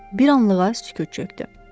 Bir anlığa sükut çökdü.